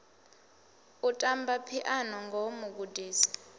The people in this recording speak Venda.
u tamba phiano ngoho mugudisi